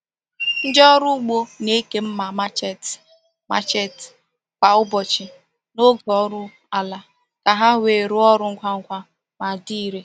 Ndị ọrụ ugbo na-eke mma machete machete kwa ụbọchị n’oge ọrụ ala ka ha wee rụọ ọrụ ngwa ngwa ma dị irè.